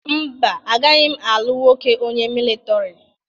Mba, agaghị m alụ nwoke onye militọri.